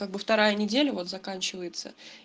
как бы вторая неделя вот заканчивается